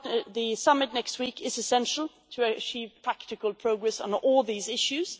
The summit next week is essential to achieve practical progress on all these issues.